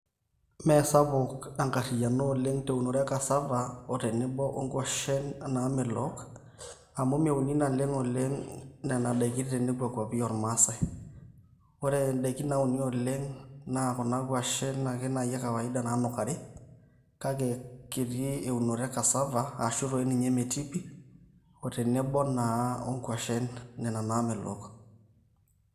Meesapuk enkariano eunore e cassava otenebo onkuashen naamepok amu meuni naleng oleng nena daiki tenekua kwapi oormaasi ore indaiki nauni oleng naa kuna kwashen naai ekawaida naanukari kake kiti eunore e cassava ashuu doi ninye metii pi otenebo naa nena naamelok